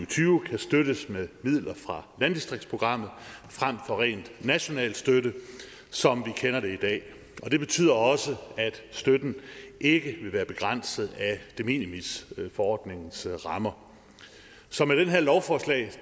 tyve kan støttes med midler fra landdistriktsprogrammet frem for rent national støtte som vi kender det i dag og det betyder også at støtten ikke vil være begrænset af de minimis forordningens rammer så med det her lovforslag